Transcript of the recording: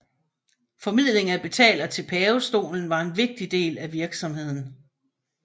Formidling af betalinger til pavestolen var en vigtig del af virksomheden